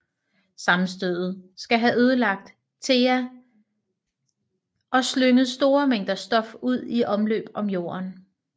Sammenstødet skal have ødelagt Theia og slynget store mængder stof ud i omløb om Jorden